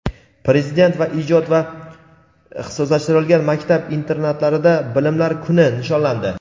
Prezident va ijod va ixtisoslashtirilgan maktab internatlarida "Bilimlar kuni" nishonlandi.